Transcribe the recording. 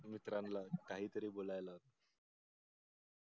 मित्रानला काहीतरी बोलायला.